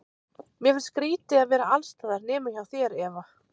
Mér finnst skrýtið að vera alls staðar nema hjá þér, Eva.